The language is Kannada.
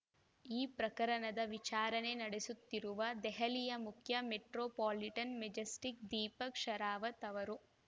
ಈ ಪ್ರಕರಣದ ವಿಚಾರಣೆ ನಡೆಸುತ್ತಿರುವ ದೆಹಲಿಯ ಮುಖ್ಯ metropolitan magistrate Deepak Sherawat ಅವರು